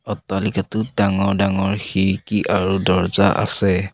অট্টালিকাটোত ডাঙৰ ডাঙৰ খিৰিকী আৰু দৰ্জা আছে।